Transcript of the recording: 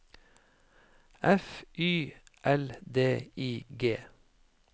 F Y L D I G